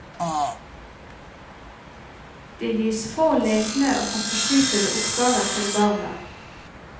Det gis få lekne og fantasifulle oppgaver til barna.